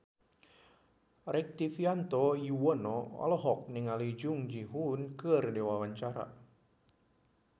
Rektivianto Yoewono olohok ningali Jung Ji Hoon keur diwawancara